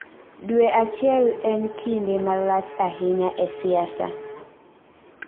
Dwe achiel en kinde malach ahinya e siasa. "